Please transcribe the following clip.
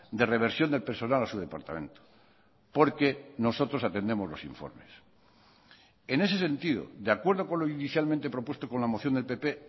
de reversión del personal a su departamento porque nosotros atendemos los informes en ese sentido de acuerdo con lo inicialmente propuesto con la moción del pp